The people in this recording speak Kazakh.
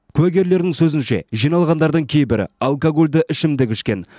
куәгерлердің сөзінше жиналғандардың кейбірі алкогольді ішімдік ішкен